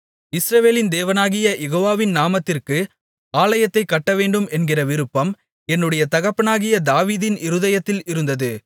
இஸ்ரவேலின் தேவனாகிய யெகோவாவின் நாமத்திற்கு ஆலயத்தைக் கட்டவேண்டும் என்கிற விருப்பம் என்னுடைய தகப்பனாகிய தாவீதின் இருதயத்தில் இருந்தது